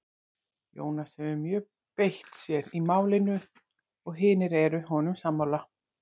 Jónas hefur mjög beitt sér í málinu og hinir eru honum sammála.